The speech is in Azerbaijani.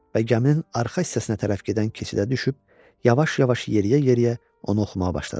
Və gəminin arxa hissəsinə tərəf gedən keçidə düşüb, yavaş-yavaş yeriyə-yeriyə onu oxumağa başladı.